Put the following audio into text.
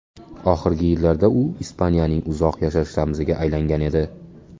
Oxirgi yillarda u Ispaniyaning uzoq yashash ramziga aylangan edi.